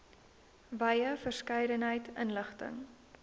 wye verskeidenheid inligting